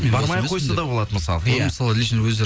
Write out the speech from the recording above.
бармай ақ қойса да болады мысалы мысалы лично өздері